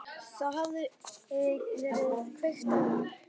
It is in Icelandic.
Það hafði verið kveikt á